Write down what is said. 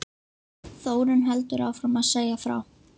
Þórunn heldur áfram að segja frá